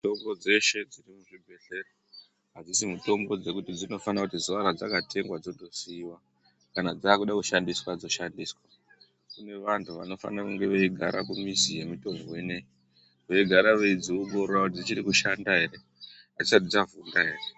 Mitombo dzeshe dziri muzvibhehlera hadzisi mitombo dzekuti dzinofana kuti zuwa radzakatengwa dzototsiwa kana dzakuda kushandiswa dzoshandiswa kune vanhu vanofanire kunge veigara kumizi yemitombo inoyi veigara veidziongorora kuti dzichiri kushanda ere adzisati dzavhunda ere?